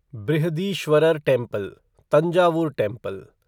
Brihadeeswarar temple Thanjavur temple